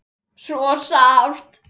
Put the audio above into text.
Svo sárt.